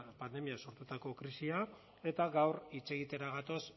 pandemiak sortutako krisiak eta gaur hitz egitera gatoz